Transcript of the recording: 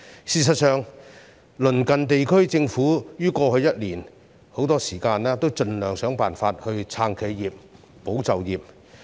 事實上，鄰近地區的政府於過去一年很多時均盡量設法"撐企業，保就業"。